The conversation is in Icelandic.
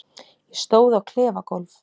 Ég stóð á klefagólf